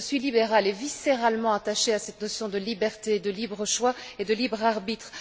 Je suis libérale et viscéralement attachée à cette notion de liberté, de libre choix et de libre arbitre.